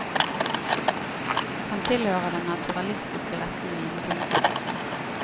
Han tilhører den naturalistiske retning innen kunsten.